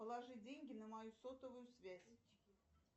положи деньги на мою сотовую связь